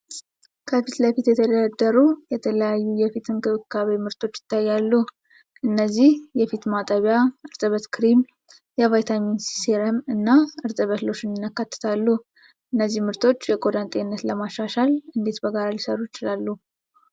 ከፊት ለፊት የተደረደሩ የተለያዩ የፊት እንክብካቤ ምርቶች ይታያሉ። እነዚህም የፊት ማጠቢያ፣ እርጥበት ክሬም፣ የቫይታሚን ሲ ሴረም፣ እና እርጥበት ሎሽን ያካትታሉ። እነዚህ ምርቶች የቆዳን ጤንነት ለማሻሻል እንዴት በጋራ ሊሠሩ ይችላሉ?